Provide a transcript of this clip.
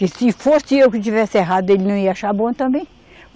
Que se fosse eu que tivesse errado, ele não ia achar bom também.